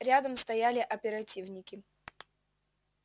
рядом стояли оперативники